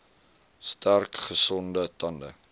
sterk gesonde tande